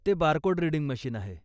ते barcode reading machine आहे.